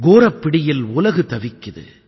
கோரப் பிடியில் உலகு தவிக்குது